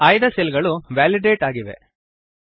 ಆಯ್ದ ಸೆಲ್ ಗಳು ವೇಲಿಡೇಟ್ ಆಗಿವೆ